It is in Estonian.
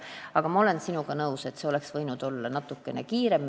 Aga ma olen sinuga nõus, et see oleks võinud minna natukene kiiremini.